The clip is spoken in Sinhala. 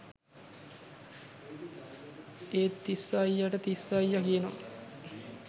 ඒත්තිස්ස අයියටතිස්ස අයියා කියනව